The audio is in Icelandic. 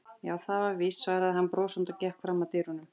Já, það er víst, svaraði hann brosandi og gekk fram að dyrunum.